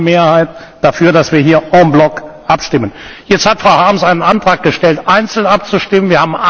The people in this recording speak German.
Es gab eine klare Mehrheit dafür, dass wir hier en bloc abstimmen. Jetzt hat Frau Harms einen Antrag gestellt, einzeln abzustimmen.